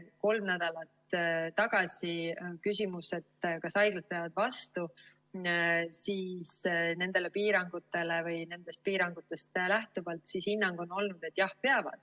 Kolm nädalat tagasi küsimusele, kas haiglad peavad vastu nendest piirangutest lähtuvalt, oli hinnang, et jah, peavad.